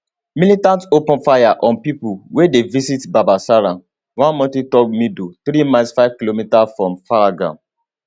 militants open fire on pipo wey dey visit baisaran one mountaintop meadow three miles 5 km from pahalgam